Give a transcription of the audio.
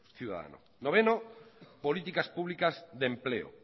ciudadano noveno políticas públicas de empleo